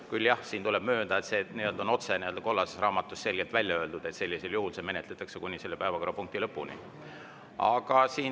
Küll aga jah, tuleb möönda, et kollases raamatus on selgelt öeldud, et sellisel juhul toimub menetlus kuni selle päevakorrapunkti.